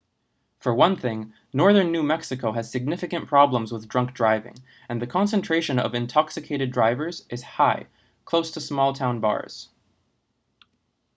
for one thing northern new mexico has significant problems with drunk driving and the concentration of intoxicated drivers is high close to small-town bars